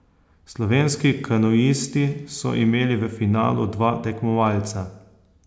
Slovenski kanuisti so imeli v finalu dva tekmovalca.